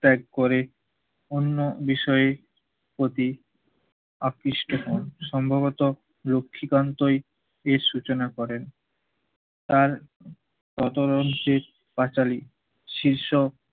ত্যাগ করে অন্য বিষয়ে প্রতি আকৃষ্ট হন। সম্ভবত লক্ষীকান্তই এর সূচনা করেন। তার প্রচলনশীল পাঁচালী শীর্ষ